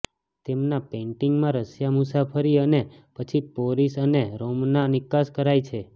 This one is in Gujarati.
તેમના પેઇન્ટિંગમાં રશિયા મુસાફરી અને પછી પોરિસ અને રોમના નિકાસ કરાય છે